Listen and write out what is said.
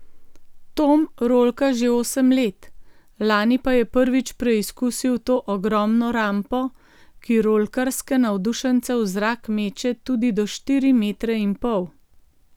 Tom rolka že osem let, lani pa je prvič preizkusil to ogromno rampo, ki rolkarske navdušence v zrak meče tudi do štiri metre in pol.